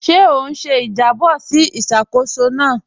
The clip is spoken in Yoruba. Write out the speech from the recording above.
Ṣé ó n ṣè ìjàbọ̀ sí ìṣákóṣọ́ náà?